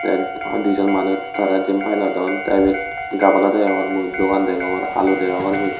yet a dijon manuj tara jempai lodon tey ibet gabala deongor mui dogan deyongor alu deyongor bil.